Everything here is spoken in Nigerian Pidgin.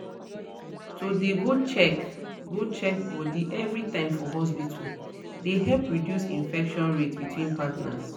to dey go check go check body everytime for hospital dey help reduce infection rate between partners